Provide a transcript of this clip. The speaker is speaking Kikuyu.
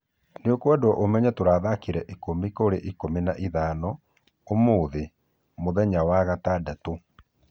"Nĩokwendwo ũmenye tũrathakire ikũmi kũri ikũmi na ithano ũmũthi (mũthenya wagatandatũ)